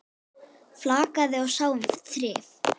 Flakaði og sá um þrif.